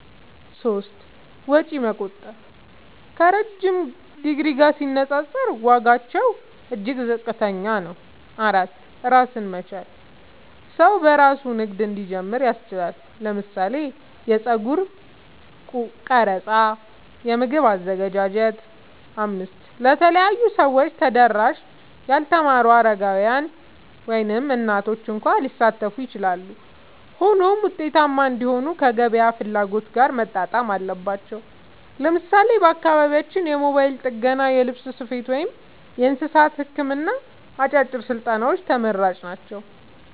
3. ወጪ መቆጠብ – ከረዥም ዲግሪ ጋር ሲነጻጸር ዋጋቸው እጅግ ዝቅተኛ ነው። 4. ራስን መቻል – ሰው በራሱ ንግድ እንዲጀምር ያስችላል (ለምሳሌ የጸጉር ቀረጻ፣ የምግብ አዘገጃጀት)። 5. ለተለያዩ ሰዎች ተደራሽ – ያልተማሩ፣ አረጋውያን፣ ወይም እናቶች እንኳ ሊሳተፉ ይችላሉ። ሆኖም ውጤታማ እንዲሆኑ ከገበያ ፍላጎት ጋር መጣጣም አለባቸው። ለምሳሌ በአካባቢያችን የሞባይል ጥገና፣ የልብስ ስፌት፣ ወይም የእንስሳት ሕክምና አጫጭር ስልጠናዎች ተመራጭ ናቸው።